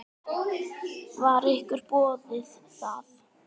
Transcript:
Var ykkur boðið það?